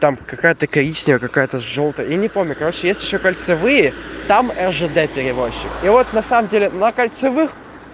какая-то коричневая какая-то жёлтая я не помню короче есть ещё кольцевые там жд перевозчик и вот на самом деле на кольцевых